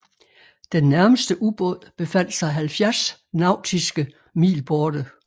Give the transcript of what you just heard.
Den nærmeste ubåd befandt sig 70 nautiske mil borte